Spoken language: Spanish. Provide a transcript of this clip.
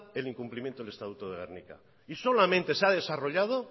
el incumplimiento del estatuto de gernika y solamente se ha desarrollado